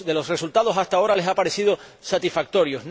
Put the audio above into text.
resultados, hasta ahora, les ha parecido satisfactorio.